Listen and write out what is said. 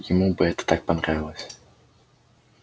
ему бы это так понравилось